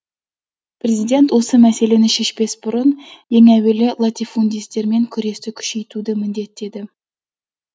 президент осы мәселені шешпес бұрын ең әуелі латифундистермен күресті күшейтуді міндеттеді